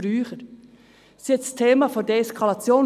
Es geht um das Thema der Deeskalation.